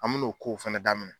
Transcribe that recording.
An min'o k'o fɛnɛ daminɛ